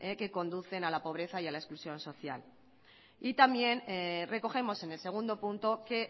que conducen a la pobreza y a la exclusión social y también recogemos en el segundo punto que